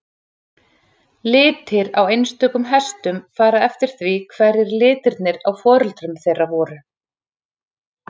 Litir á einstökum hestum fara eftir því hverjir litirnir á foreldrum þeirra voru.